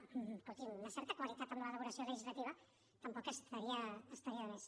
escolti’m una certa qualitat en l’elaboració legislativa tampoc estaria de més